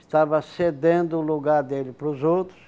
Estava cedendo o lugar dele pros outros.